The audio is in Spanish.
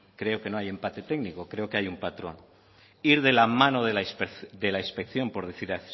creo que no hay empate técnico creo que hay un patrón ir de la mano de la inspección por decir